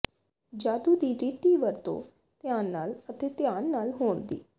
ਜਾਦੂ ਦੀ ਰੀਤੀ ਵਰਤੋ ਧਿਆਨ ਨਾਲ ਅਤੇ ਧਿਆਨ ਨਾਲ ਹੋਣ ਦੀ